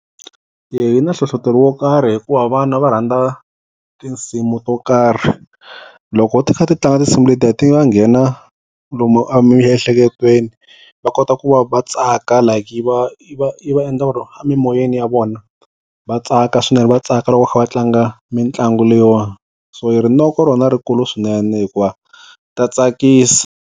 yi na hlohlotelo wo karhi hikuva vana va rhandza tinsimu to karhi loko u tisa ti tlanga tinsimu letiya ti va nghena lomu emiehleketweni va kota ku va va tsaka like yi va yi va yi va endla ku ri a mimoyeni ya vona va tsaka swinene va tsaka loko va kha va tlanga mitlangu leyiwana so hi rinoko rona rikulu swinene hikuva ta tsakisa.